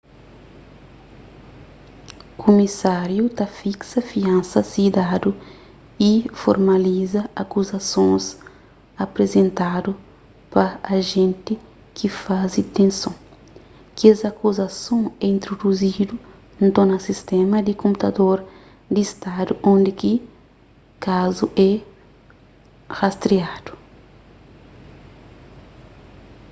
kumisáriu ta fiksa fiansa si dadu y formaliza akuzasons aprizentadu pa ajénti ki faze ditenson kes akuzason é introduzidu nton na sistéma di konputador di stadu undi ki kazu é rastriadu